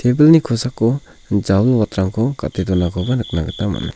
tebilni kosako jawilwatrangko gate donakoba nikna gita man·a.